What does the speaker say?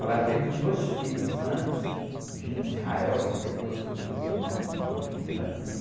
Ela teve dois filhos antes, e, que depois eu pus o nome do meu filho assim,